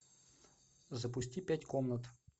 запусти пять комнат